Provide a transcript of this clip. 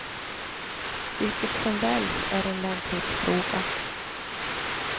Vilket som väljs är en lämplighetsfråga.